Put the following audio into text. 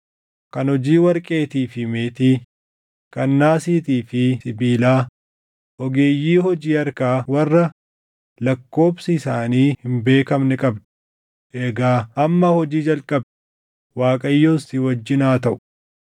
kan hojii warqeetii fi meetii, kan naasiitii fi sibiilaa, ogeeyyii hojii harkaa warra lakkoobsi isaanii hin beekamne qabda. Egaa amma hojii jalqabi; Waaqayyos si wajjin haa taʼu.”